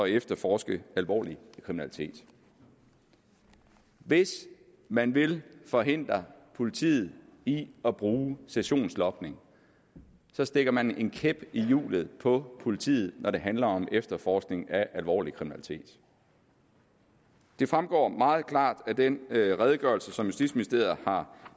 efterforske alvorlig kriminalitet hvis man vil forhindre politiet i at bruge sessionsloging stikker man en kæp i hjulet for politiet når det handler om efterforskning af alvorlig kriminalitet det fremgår meget klart af den redegørelse som justitsministeriet har